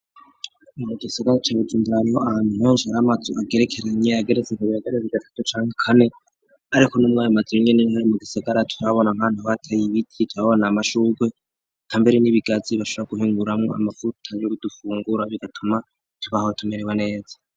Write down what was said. Mu gisagara ca Bujumbura unduraniro antonsh ara amatsu agerekeranye ageretze ngo bihagareze igatatu canke kane, ariko n'umwaye mazibinyene nhari mu gisagara tuhabona mkana bateye ibiti cababona amashurwe ka mbere n'ibigazi bashara guhinguramwo amafuta y'urudufungura bigatuma ntubahotumerewe neza.